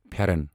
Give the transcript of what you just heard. فیرنَ